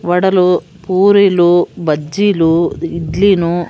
వడలు పూరీలు బజ్జీలు ఇడ్లీను .